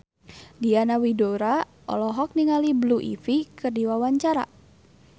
Diana Widoera olohok ningali Blue Ivy keur diwawancara